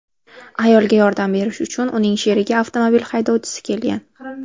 Ayolga yordam berish uchun uning sherigi avtomobil haydovchisi kelgan.